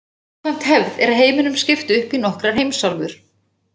Samkvæmt hefð er heiminum skipt upp í nokkrar heimsálfur.